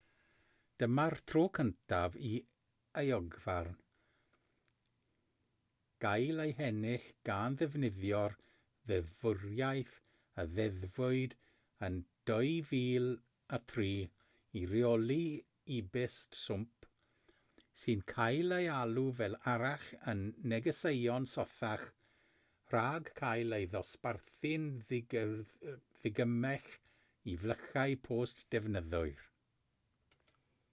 dyma'r tro cyntaf i euogfarn gael ei hennill gan ddefnyddio'r ddeddfwriaeth a ddeddfwyd yn 2003 i reoli e-byst swmp sy'n cael ei alw fel arall yn negeseuon sothach rhag cael ei ddosbarthu'n ddigymell i flychau post defnyddwyr